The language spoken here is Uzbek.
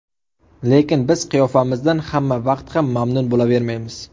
Lekin biz qiyofamizdan hamma vaqt ham mamnun bo‘lavermaymiz.